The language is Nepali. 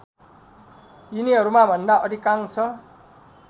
यिनीहरूमा भन्दा अधिकांश